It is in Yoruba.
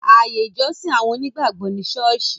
Ààyè ìjọsìn àwọn onígbàgbọ̀ ni Sọ́ọ́sì